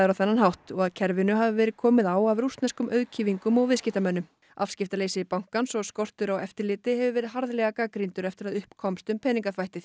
á þennan hátt og að kerfinu hafi verið komið á af rússneskum auðkýfingum og viðskiptamönnum afskiptaleysi bankans og skortur á eftirliti hefur verið harðlega gagnrýndur eftir að upp komst um peningaþvættið